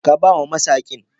Ka ba wa masaqin.